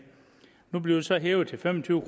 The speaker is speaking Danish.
nu bliver det så hævet til fem og tyve